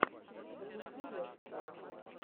запусти лекцию